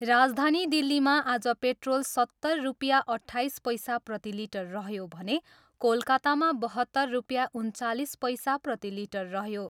राजधानी दिल्लीमा आज पेट्रोल सत्तर रुपियाँ अट्ठाइस पैसा प्रतिलिटर रह्यो भने कोलकातामा बहत्तर रुपियाँ उन्चालिस पैसा प्रतिलिटर रह्यो।